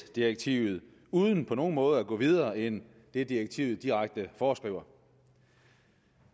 direktivet uden på nogen måde at gå videre end det direktivet direkte foreskriver